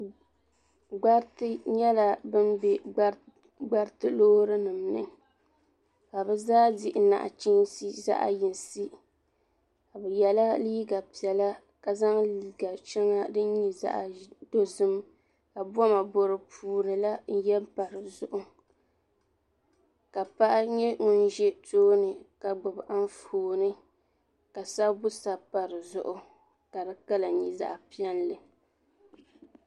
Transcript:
Gbariti nyɛla ban be Gbariti loori nima ni ka bɛ zaa dihi naɣachiinsi zaɣa yinsi bɛ yela liiga piɛla ka zaŋ liiga sheŋa din nyɛ zaɣa dozim ka boma bo di puuni la n ye m pa di zuɣu ka paɣa nyɛ ŋun za tooni ka gbibi Anfooni ka sabbu sabi pa di zuɣu ka di kala nyɛ zaɣa piɛlli.